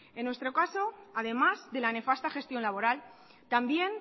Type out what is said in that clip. en nuestro caso además de la nefasta gestión laboral también